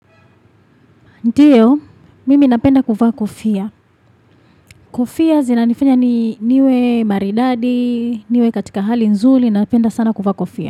Ndiyo, mimi napenda kuvaa kofia. Kofia zina nifanya niwe maridadi, niwe katika hali nzuli, napenda sana kuvaa kofia.